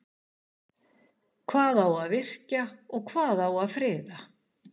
Hvað á að virkja og hvað á að friða?